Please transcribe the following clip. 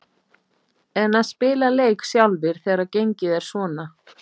En að spila leik sjálfir þegar gengið er svona?